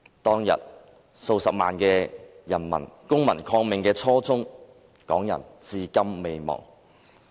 當天，數十萬人公民抗命的初衷，港人至今未忘。